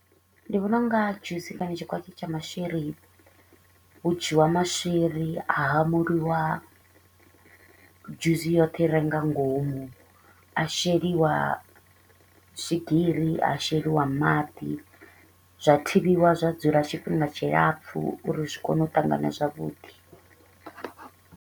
Ndi vhona u nga juice kana tshikwatshi tsha maswiri, hu dzhiwa maswiri a hamuliwa dzhuzi yoṱhe i re nga ngomu. Ha sheliwa swigiri, ha sheliwa maḓi, zwa thivhiwa zwa dzula tshifhinga tshilapfu uri zwi kone u ṱangana zwavhuḓi.